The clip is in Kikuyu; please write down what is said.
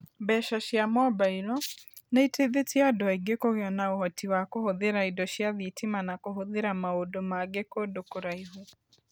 Mbeca cia mobailo nĩ iteithĩtie andũ aingĩ kũgĩa na ũhoti wa kũhũthĩra indo cia thitima na kũhũthĩra maũndũ mangĩ kũndũ kũraihu.